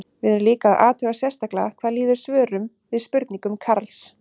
Við erum líka að athuga sérstaklega hvað líður svörum við spurningum Karls.